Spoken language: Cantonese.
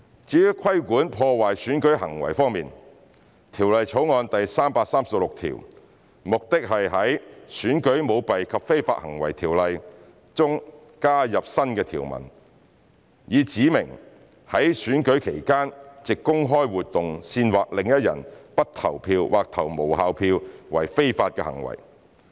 至於規管破壞選舉行為方面，《條例草案》的第336條旨在於《選舉條例》中加入新的條文，以指明在選舉期間藉公開活動煽惑另一人不投票或投無效票為非法行為。